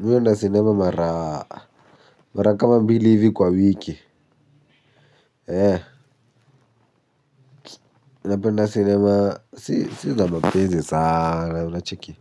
Mi huenda sinema mara kama mbili hivi kwa wiki. Napenda sinema, si za mapenzi sana, unacheki